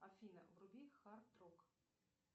афина вруби хард рок